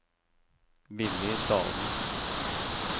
Willy Dahlen